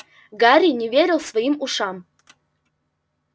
гарри не верил своим ушам